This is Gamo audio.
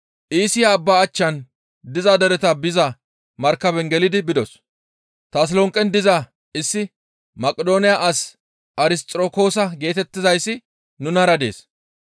Iisiya abba achchan diza dereta biza markaben gelidi bidos. Tasolonqen diza issi Maqidooniya as Arisxirokoosa geetettizayssi nunara dees.